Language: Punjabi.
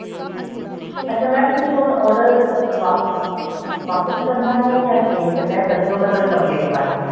ਅੱਛਾ mam ਹੁਣ ਤੁਸੀਂ order ਵਾਪਿਸ ਵਾਪਿਸ ਕਰਨਾ ਹੈ ਜਾਂ exchange ਕਰਨਾ ਹੈ ਦੱਸੋ ਮੈਂ ਤੁਹਾਡੀ complaint ਪਾਣੀ ਹੈ